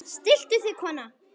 Stilltu þig kona!